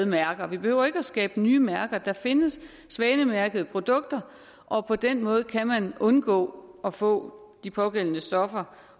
mærker vi behøver ikke at skabe nye mærker for der findes svanemærkede produkter og på den måde kan man undgå at få de pågældende stoffer